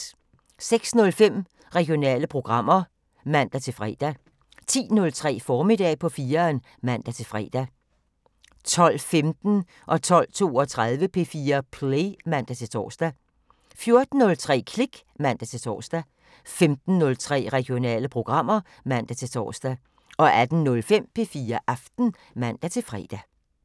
06:05: Regionale programmer (man-fre) 10:03: Formiddag på 4'eren (man-fre) 12:15: P4 Play (man-tor) 12:32: P4 Play (man-tor) 14:03: Klik (man-tor) 15:03: Regionale programmer (man-tor) 18:05: P4 Aften (man-fre)